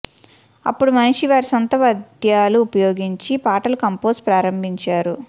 అప్పుడు మనిషి వారి సొంత పద్యాలు ఉపయోగించి పాటలు కంపోజ్ ప్రారంభించారు